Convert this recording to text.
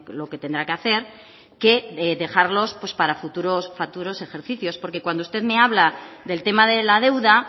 lo que tendrá que hacer que dejarlos para futuros ejercicios porque cuando usted me habla del tema de la deuda